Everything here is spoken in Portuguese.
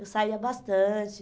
Eu saía bastante.